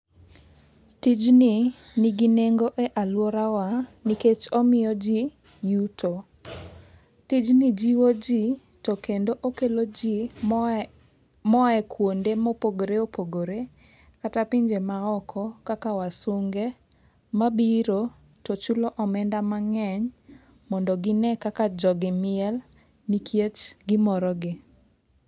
Tijni nigi nengo e aluorawa nikech omiyo jii yuto. Tijni jiwo jii to kendo okelo jiii moa, moa e kuonde ma oopogore opogore kata pinje maoko kaka wasunge mabiro tochulo omenda mangeny mondo gine kaka jogi miel nikech gimoro gi